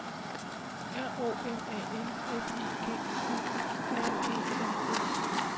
R O M A N F I G U R E N S